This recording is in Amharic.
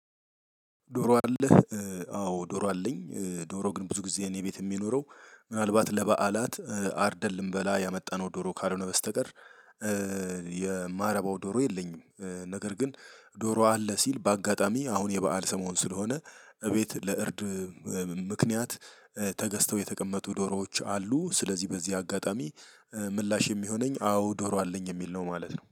ዶሮ አለህ አዎ ዶሮ አለኝ ዶሮ ግን ብዙ ጊዜ እኔ ቤት የሚኖረው ምናልባት ለበዓላት አርደን ልንበላ ያመጣነው ዶሮ ካልሆነ በስተቀር የማረባው ዶሮ የለኝም። ነገር ግን ዶሮ አለ ሲል በአጋጣሚ አሁን የበአል ሰሞን ስለሆነ እቤት ለእርድ ምክንያት ተገዝተው የተቀመጡ ዶሮዎች አሉ። ስለዚህ በዚህ አጋጣሚ ምላሽ የሚሆነኝ አዎ ዶሮ አለኝ የሚል ነው ማለት ነው